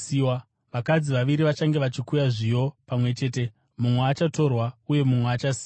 Vakadzi vaviri vachange vachikuya zviyo pamwe chete; mumwe achatorwa uye mumwe achasiyiwa.